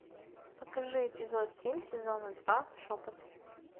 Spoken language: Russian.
покажи эпизод семь сезона два шепот